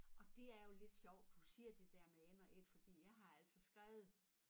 Og det er jo lidt sjovt du siger det dér med en og et fordi jeg har altså skrevet